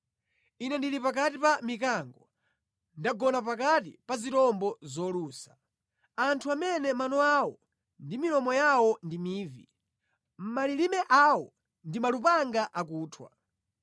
Ine ndili pakati pa mikango, ndagona pakati pa zirombo zolusa; anthu amene mano awo ndi milomo yawo ndi mivi, malilime awo ndi malupanga akuthwa.